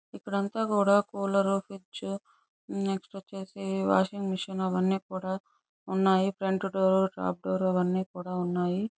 ఇక్కడంతా కూడా cooler fridge next వచ్చేసి వాషింగ్ మెషిన్ అవ్వన్నీ కూడా ఉన్నాయ్. ఫ్రంట్ డోర్ టాప్ డోర్ అవన్నీ కూడా ఉన్నాయ్.